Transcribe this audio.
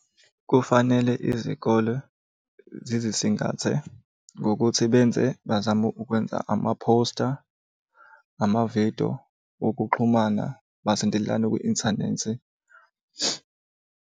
Kufanele izikole zizisingathe ngokuthi benze, bazame ukwenza amaphosta, amavidiyo wokuxhumana, basondelane kwi-inthanethi.